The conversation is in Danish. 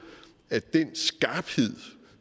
at den skarphed